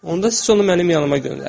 Onda siz onu mənim yanıma göndərin.